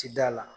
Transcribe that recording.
Ti da la